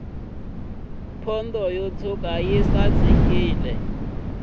pondo yo tshwuka yi sasekisa nomu